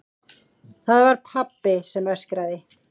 Það var pabbi sem öskraði.